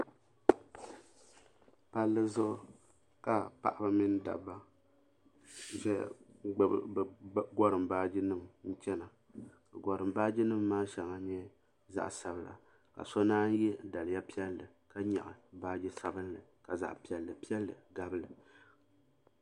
Palli zuɣu ka paɣaba mini dabba zaya n gbibi bɛ gorim baaji nima n chena gorim baaji nima maa sheŋa nyɛ zaɣa sabla ka so naan ye daliya piɛli ka nyaɣi baaji sabinli ka zaɣa piɛlli piɛlli gabili.